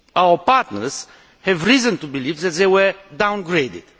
Our partners have reason to believe that they have been downgraded.